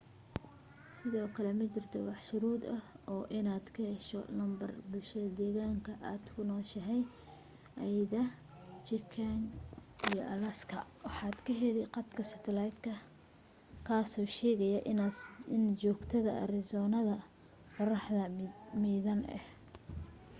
sidoo kale ma jirto wax shuruud ah oo ah inaad ka hesho lambar bulshada deegaanka aad ku nooshahay ayda chicken iyo alaska waxaad ka heli khadka satalaytka kaasoo sheegaya inaas joogto arizonada qorraxda miidhan ah